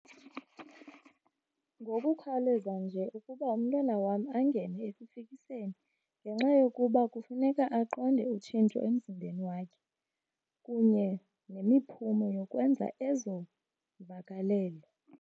Ngokukhawuleza nje ukuba umntwana wam angene ekufikiseni ngenxa yokuba kufuneka aqonde utshintsho emzimbeni wakhe kunye nemiphumo yokwenza ezo mvakalelo.